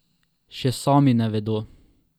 Še sami ne vedo.